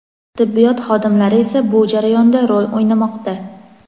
Tibbiyot xodimlari esa bu jarayonda rol o‘ynamoqda.